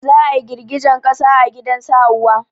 Za a girgejen ƙasa a gidan su Hauwa